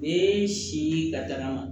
Ni si la daga